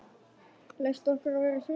Leyft okkur að vera í friði?